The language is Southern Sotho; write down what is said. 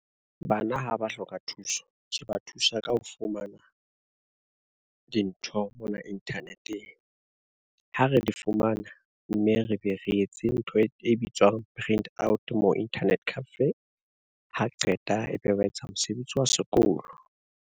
Bana ha ba hloka thuso, re ba thusa ka ho fumana, dintho mona internet-eng. Ha re di fumana, mme re be re etse ntho e bitswang print out mo internet cafe, ha qeta ebe wetsa mosebetsi wa sekolo.